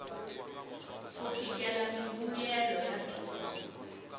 ku fikelela mimbuyelo ya dyondzo